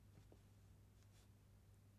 Blædel, Sara: Aldrig mere fri Lydbog 17700